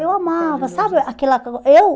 Eu amava, sabe aquela eu